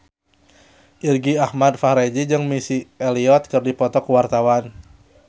Irgi Ahmad Fahrezi jeung Missy Elliott keur dipoto ku wartawan